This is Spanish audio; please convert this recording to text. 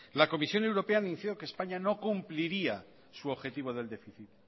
la comisión europea anunció que españa no cumpliría su objetivo del déficit